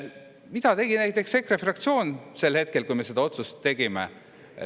Mida tegi näiteks EKRE fraktsioon sel hetkel, kui me seda otsust tegime?